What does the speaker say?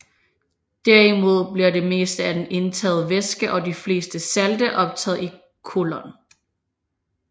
Derimod bliver det meste af den indtagede væske og de fleste salte optaget i colon